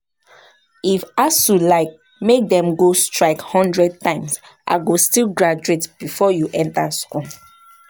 If ASUU like make dem go strike hundred times, I go still graduate before you enter school